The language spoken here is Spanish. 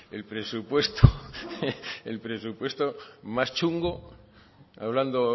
el presupuesto el presupuesto más chungo hablando